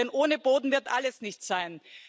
Denn ohne Boden wird alles nichts sein.